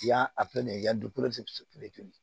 Yan a fɛnɛ